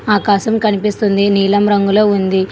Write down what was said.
ఆకాశం కనిపిస్తుంది నీలం రంగులో ఉంది.